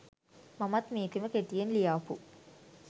මමත් මේකෙම කෙටියෙන් ලියාපු